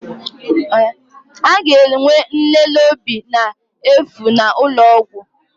A ga-enwe nlele obi n'efu n'ụlọ ọgwụ?